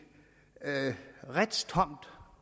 retstomt